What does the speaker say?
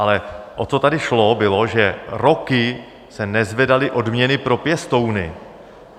Ale o co tady šlo, bylo, že roky se nezvedaly odměny pro pěstouny.